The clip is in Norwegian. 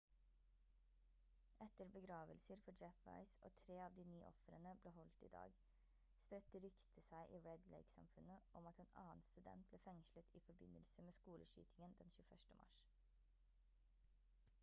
etter begravelser for jeff weise og 3 av de 9 ofrene ble holdt i dag spredte ryktet seg i red lake-samfunnet om at en annen student ble fengslet i forbindelse med skoleskytingen den 21. mars